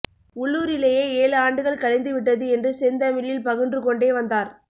உள்ளூரிலேயே ஏழு ஆண்டுகள் கழிந்து விட்டது என்று செந்தமிழில் பகன்றுகொண்டே வந்தார்